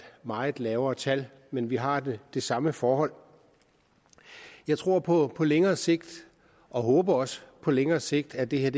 meget lavere tal men vi har det det samme forhold jeg tror på på længere sigt og håber også på længere sigt at det her